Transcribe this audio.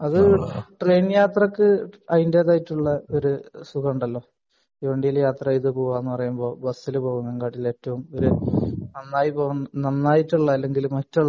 അത് ട്രെയിൻ യാത്രക്ക് അതിന്റെതായ ഒരു സുഖമുണ്ടല്ലോ .. തീവണ്ടിയിൽ യാത്ര ചെയ്തു പോവുക എന്ന് പറയുന്നത് ബസിനു പോകുന്നതിനേക്കാൾ നന്നായിട്ടുള്ള അല്ലെങ്കിൽ മറ്റുള്ള